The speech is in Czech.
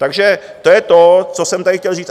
Takže to je to, co jsem tady chtěl říct.